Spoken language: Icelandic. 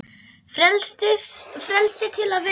Frelsi til að vera.